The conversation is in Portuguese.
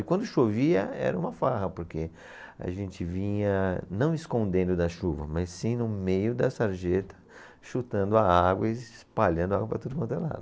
E quando chovia era uma farra porque a gente vinha não escondendo da chuva, mas sim no meio da sarjeta chutando a água e espalhando a água para tudo quanto é lado.